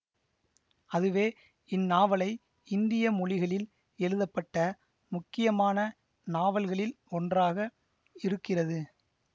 அதுவே இந்நாவலை இந்திய மொழிகளில் எழுதப்பட்ட முக்கியமான நாவல்களில் ஒன்றாக இருக்குகிறது